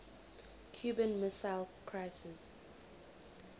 cuban missile crisis